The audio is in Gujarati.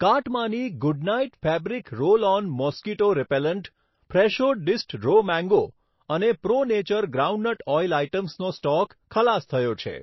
કાર્ટમાંની Good Knight fabric roll on mosquito repellent, Fresho diced raw mango અને પ્રો નેચર ગ્રાઉન્ડનટ ઓઈલ આઇટમ્સનો સ્ટોક ખલાસ થયો છે.